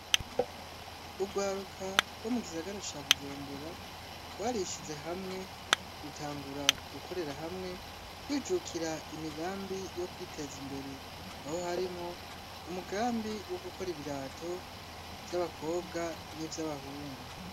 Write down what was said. Urwaruka rwo mu gisagara ca Bujumbura, rwarishize hamwe rutangura gukorera hamwe, rwijukira imigambi yo kwiteza imbere; aho harimwo umugambi wo gukora ibirato vy'abakobwa n'ivy'abahungu